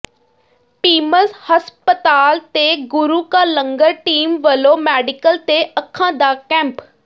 PIMS ਹਸਪਤਾਲ ਤੇ ਗੁਰੂ ਕਾ ਲੰਗਰ ਟੀਮ ਵੱਲੋਂ ਮੈਡੀਕਲ ਤੇ ਅੱਖਾਂ ਦਾ ਕੈਂਪ